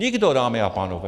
Nikdo, dámy a pánové!